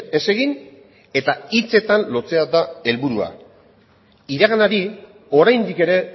ez egin eta hitzetan lotzea da helburua iraganari oraindik ere